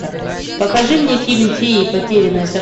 покажи мне фильм феи потерянное